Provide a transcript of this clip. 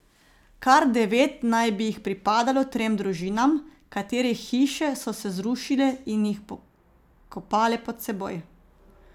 Kar devet naj bi jih pripadalo trem družinam, katerih hiše so se zrušile in jih pokopale pod seboj.